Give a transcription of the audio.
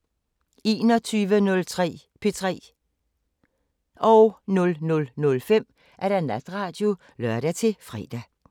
21:03: P3 00:05: Natradio (lør-fre)